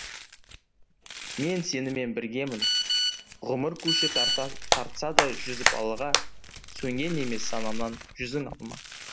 мен сенімен біргемін ғұмыр көші тартса да жүзіп алға сөнген емес санамнан жүзің алма